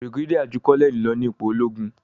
brigadier jù Colonel ló ní ipò ologun.